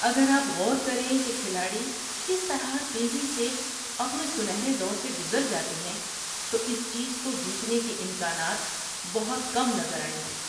اگر آپ غور کریں کہ کھلاڑی کس طرح تیزی سے اپنے سنہرے دور سے گزر جاتے ہیں تو اس چیز کو جیتنے کے امکانات بہت کم نظر آئیں گے۔